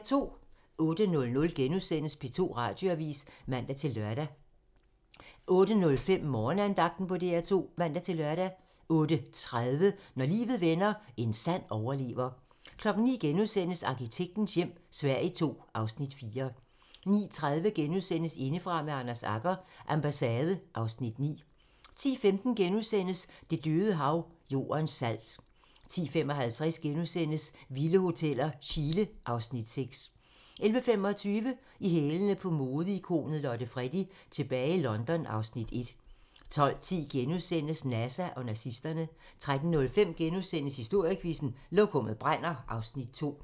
08:00: P2 Radioavis *(man-lør) 08:05: Morgenandagten på DR2 (man-lør) 08:30: Når livet vender - en sand overlever 09:00: Arkitektens hjem - Sverige II (Afs. 4)* 09:30: Indefra med Anders Agger - Ambassade (Afs. 9)* 10:15: Det Døde Hav - Jordens salt * 10:55: Vilde hoteller - Chile (Afs. 6)* 11:25: I hælene på modeikonet Lotte Freddie: Tilbage i London (Afs. 1) 12:10: NASA og nazisterne * 13:05: Historiequizzen: Lokummet brænder (Afs. 2)*